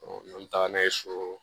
n'an bɛ taga n'a ye so